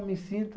Eu me sinto.